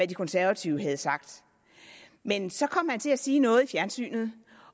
de konservative havde sagt men så kom til at sige noget i fjernsynet